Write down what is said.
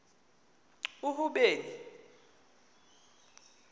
uhuben